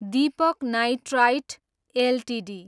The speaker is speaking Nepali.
Deepak nitrite Ltd